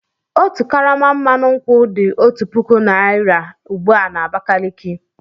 Otu karama mmanụ nkwụ dị otu puku naira ugbu a na Abakaliki.